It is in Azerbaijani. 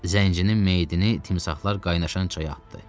Zəncirinin meyidini timsahlar qaynaşan çaya atdı.